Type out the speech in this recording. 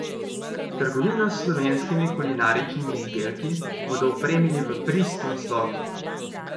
Trgovino s slovenskimi kulinaričnimi izdelki bodo opremili v pristnem slogu.